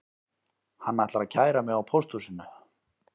Hann ætlar að kæra mig á pósthúsinu